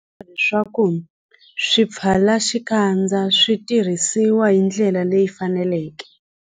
I swa nkoka leswaku swipfalaxikandza swi tirhisiwa hi ndlela leyi faneleke.